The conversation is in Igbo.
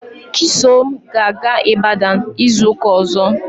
Chisom ga-aga Ibadan izu ụka ọzọ.